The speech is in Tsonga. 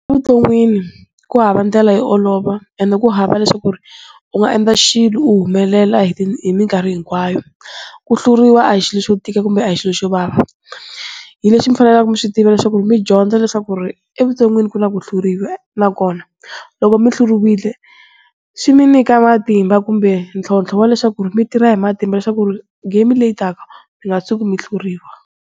Evuton'wini kuhava ndlela yo olova and kuhava leswaku u nga endla xilo u humelela hi mikarhi hinkwayo. Ku hlawuriwa a hi xilo xo tika kumbe a hi xilo xo vava hileswi mifanekele miswi tiva leswaku midyondza leswaku evuton'wini ku na ku hluriwa nakona loko mihluriwile swi mi nyika matimba kumbe ntlhontlho wa leswaku mitirha hi matimba leswaku game leyi taka mi nga tshuki mi hluriwa.